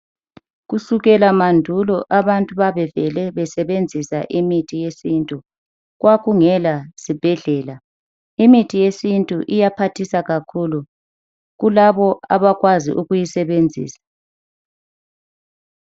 Kusukela mandulo abantu babevele besebenzisa imithi yesintu kwakungela zibhedlela .imithi yesintu iya phathisa kakhulu kulabo abakwazi ukuyisebenzisa.